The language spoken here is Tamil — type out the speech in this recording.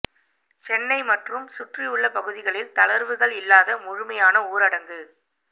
சென்னை மற்றும் சுற்றியுள்ள பகுதிகளில் தளர்வுகள் இல்லாத முழுமையான ஊரடங்கு